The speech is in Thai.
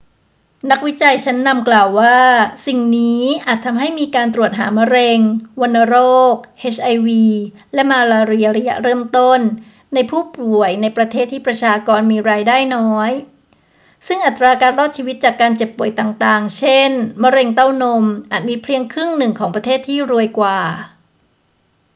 นักวิจัยชั้นนำกล่าวว่าสิ่งนี้อาจทำให้มีการตรวจหามะเร็ง วัณโรค เอชไอวี และมาลาเรียระยะเริ่มต้นในผู้ป่วยในประเทศที่ประชากรมีรายได้น้อย ซึ่งอัตราการรอดชีวิตจากการเจ็บป่วยต่าง ๆ เช่น มะเร็งเต้านม อาจมีเพียงครึ่งหนึ่งของประเทศที่รวยกว่า